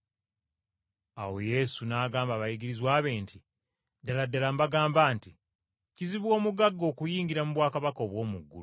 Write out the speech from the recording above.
Awo Yesu n’agamba abayigirizwa be nti, “Ddala ddala mbagamba nti, kizibu omugagga okuyingira mu bwakabaka obw’omu ggulu.